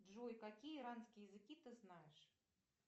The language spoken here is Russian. джой какие иранские языки ты знаешь